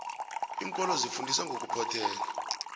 iinkolo zifundisa ngokuphothela